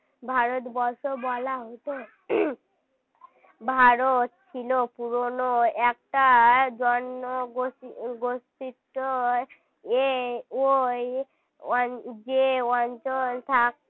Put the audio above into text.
ভারতবর্ষ বলা হতো ভারত ছিল পুরনো একটা জনগোষ্ঠী~ জনগোষ্ঠীর এ ওই যে অঞ্চল থাকে